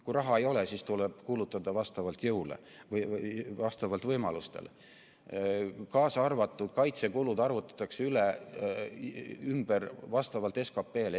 Kui raha ei ole, siis tuleb kulutada vastavalt võimalustele, kaasa arvatud kaitsekulud, mis arvutatakse ümber vastavalt SKT-le.